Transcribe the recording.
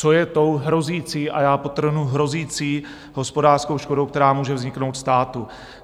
Co je tou hrozící - a já podtrhnu - hrozící hospodářskou škodou, která může vzniknout státu?